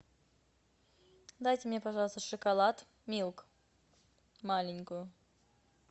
дайте мне пожалуйста шоколад милк маленькую